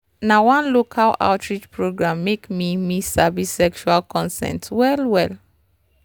na one local outreach program make me me sabi sexual consent well well.